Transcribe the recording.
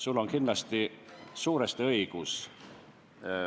Sul on kindlasti suuresti õigus.